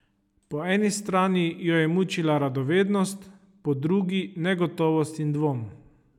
Po eni strani jo je mučila radovednost, po drugi negotovost in dvom.